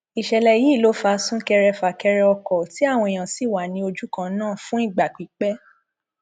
ìṣẹlẹ yìí ló fa súnkẹrẹfàkẹrẹ ọkọ tí àwọn èèyàn sì wà ní ojú kan ná fún ìgbà pípẹ